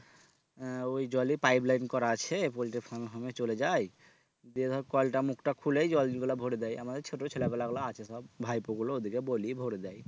আহ ওই জলই pipeline করা আছে পোল্টির farm home এ চলে যায় দিয়ে ধর কলটা মুখটা খুলেই জল গুলা ভরে দেয় আমাদের ছোট ছেলা পেলাগুলো আছে সব ভাইপো গুলো ওদেরকে বলি ভরে দেয়